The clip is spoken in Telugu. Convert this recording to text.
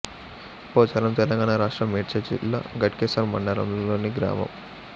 పోచారం తెలంగాణ రాష్ట్రం మేడ్చల్ జిల్లా ఘటకేసర్ మండలంలోని గ్రామం